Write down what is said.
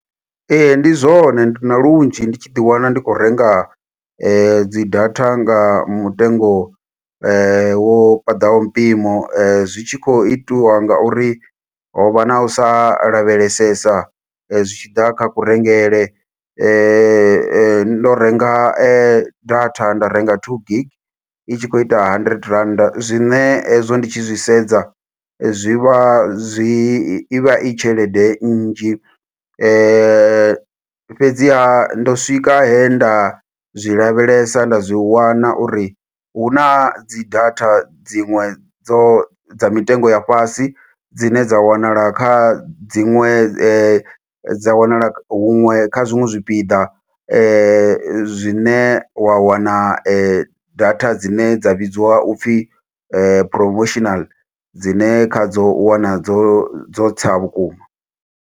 Ee, ndi zwone, ndi na lunzhi ndi tshi ḓi wana ndi khou renga dzi data nga mutengo wo paḓaho mpimo. Zwi tshi khou itiwa nga uri ho vha na u sa lavhelesesa, zwitshiḓa kha kurengele. Ndo renga data, nda renga two gig. I tshi khou ita hundred rand, zwine hezwo ndi tshi zwi sedza zwi vha zwi, i vha i tshelede nnzhi. Fhedziha, ndo swika he nda zwi lavhelesa nda zwi wana uri, hu na dzi data dziṅwe dzo dza mitengo ya fhasi, dzine dza wanala kha dziṅwe dza wanala huṅwe kha zwiṅwe zwipiḓa. Zwine wa wana data dzine dza vhidziwa upfi promotional dzine kha dzo, u wana dzo dzo tsa vhukuma.